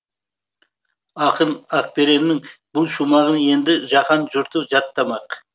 ақын ақбереннің бұл шумағын енді жаһан жұрты жаттамақ